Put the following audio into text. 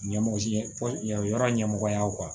Ɲɛmɔgɔ si ɲɛfɔ yɔrɔ ɲɛmɔgɔyaw kan